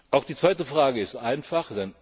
Auch die zweite Frage ist einfach.